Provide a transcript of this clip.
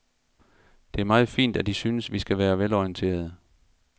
Det er meget fint, at I synes, vi skal være velorienterede.